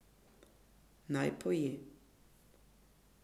Naj poje.